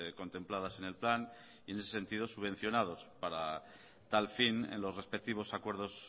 contempladas en el plan y en ese sentido subvencionados para tal fin en los respectivos acuerdos